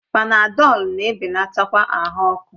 Panadọlu na-ebelatakwa ahụ ọkụ